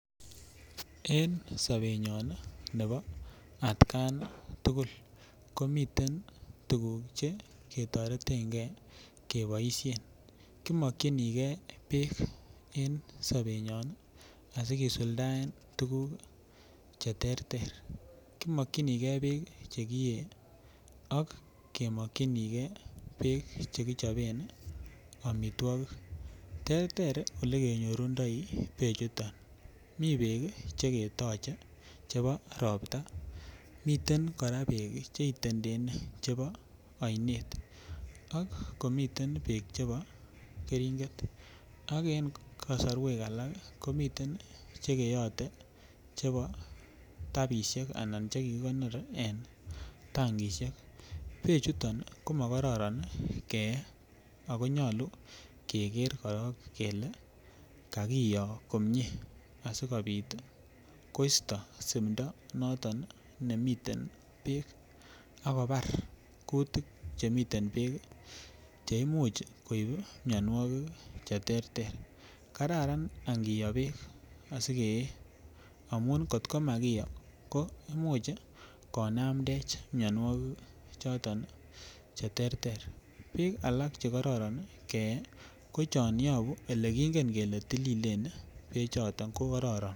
En sobenyon nebo atgan tugul ko miten tuguk Che ketoreten ge keboisien ko mokyinige bek en sobenyon asi kisuldaen tuguk Che terter kimakyinge bek Che kiyee ak kemokyinige bek Che kichoben amitwogik terter Ole kenyorundoi bechuto mi bek Che ketoche chebo Ropta miten kora bek Che itendene chebo oinet ak komiten bek chebo keringet ak en kasarwek alak komiten Che keyote chebo tapisiek anan Che kikonor en tankisiek bechuto ko Ma kororon keye ako nyolu keger korok kele kakiyo komie asikobit koisto simdo noton nemiten bek ak kobar kutik Che miten bek Che Imuch koib mianwogik Che terter kararan angiyo bek asi keye amun kotko makiyo komuch konamdech mianwogik choton Che terter bik alak Che kororon keyee ko yon yobu Ole kingen kele tililen be choto ko kororon